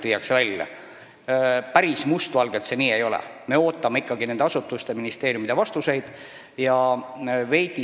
Mustvalgelt võttes see päris nii ei ole – me ootame ikkagi nende ministeeriumide ja asutuste vastuseid.